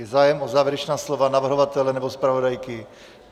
Je zájem o závěrečná slova navrhovatele nebo zpravodajky?